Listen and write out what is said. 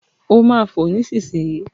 Ó máa fo nísìnyìí.